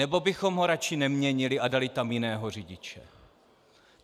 Nebo bychom ho radši neměnili a dali tam jiného řidiče?